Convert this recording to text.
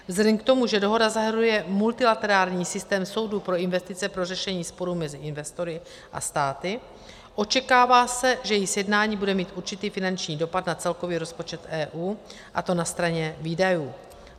Vzhledem k tomu, že dohoda zahrnuje multilaterální systém soudů pro investice pro řešení sporů mezi investory a státy, očekává se, že její sjednání bude mít určitý finanční dopad na celkový rozpočet EU, a to na straně výdajů.